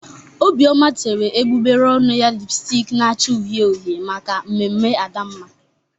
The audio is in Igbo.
Obioma tere egbugbere ọnụ ya lịpstik na-acha uhie uhie maka mmemme Adamma